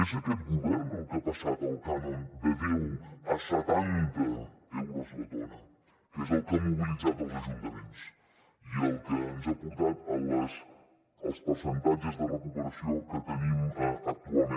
és aquest govern el que ha passat el cànon de deu a setanta euros la tona que és el que ha mobilitzat els ajuntaments i el que ens ha portat als percentatges de recuperació que tenim actualment